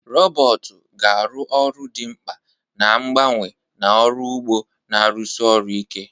Robotu ga-arụ ọrụ dị mkpa na-abawanye na ọrụ ugbo na-arụsi ọrụ ike.